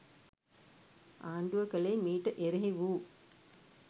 ආණ්ඩුව කළේ මීට එරෙහි වූ